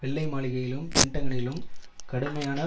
வெள்ளை மாளிகையிலும் பென்டகனிலும் கடுமையான